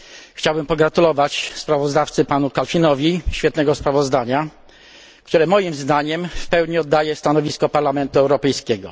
Chciałbym pogratulować sprawozdawcy panu Kalfinowi świetnego sprawozdania, które moim zdaniem w pełni oddaje stanowisko Parlamentu Europejskiego.